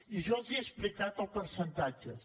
i jo els he explicat els percentatges